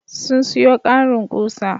Sun sayo ƙarin ƙusa.